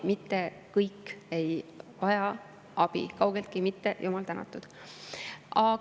Mitte kõik ei vaja abi – kaugeltki mitte, jumal tänatud!